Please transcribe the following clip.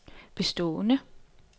bestående